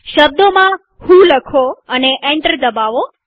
શબ્દોમાં વ્હો લખો અને એન્ટર દબાવો